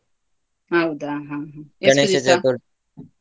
ಹೌದಾ ಹ ಹ .